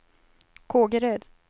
Kågeröd